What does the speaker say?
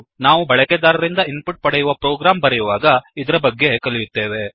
ನಾವು ಬಳಕೆದಾರರಿಂದ input ಪಡೆಯುವ ಪ್ರೋಗ್ರಾಮ್ ಬರೆಯುವಾಗ ಇದರ ಬಗ್ಗೆ ತಿಳಿಯುತ್ತೇವೆ